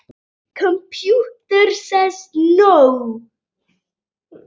Hver eru markmið þín?